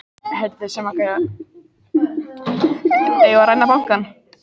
Vilja rannsókn á einkavæðingu bankanna